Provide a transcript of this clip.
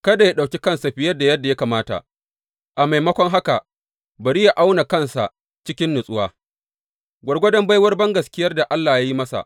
Kada yă ɗauki kansa fiye da yadda ya kamata, a maimakon haka bari yă auna kansa cikin natsuwa, gwargwadon baiwar bangaskiyar da Allah yi masa.